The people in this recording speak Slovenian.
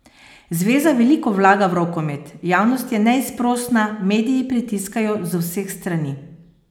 Zveza veliko vlaga v rokomet, javnost je neizprosna, mediji pritiskajo z vseh strani.